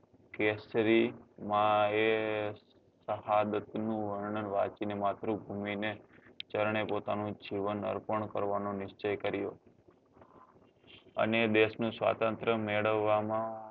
કેસરી માં એ સહાદત નું વર્ણન વાંચી ને માતૃભૂમિ ને ચરણે પોતાનું જીવન અર્પણ કરવા નો નીર્ચ્ચ્ય કર્યો અને દેશ નું સ્વતંત્ર મેળવવા માં